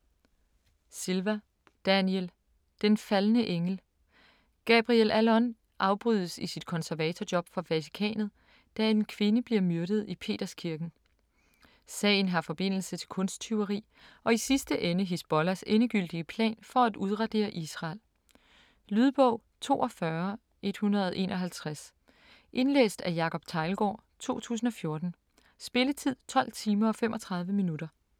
Silva, Daniel: Den faldne engel Gabriel Allon afbrydes i sit konservatorjob for Vatikanet, da en kvinde bliver myrdet i Peterskirken. Sagen har forbindelse til kunsttyveri og i sidste ende Hizbollahs endegyldige plan for at udradere Israel. Lydbog 42151 Indlæst af Jacob Teglgaard, 2014. Spilletid: 12 timer, 35 minutter.